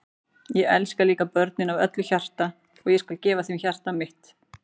Ég elska líka börnin af öllu hjarta og ég skal gefa þeim hjarta mitt.